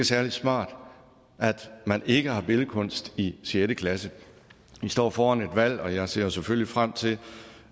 særlig smart at man ikke har billedkunst i sjette klasse vi står foran et valg og jeg ser selvfølgelig frem til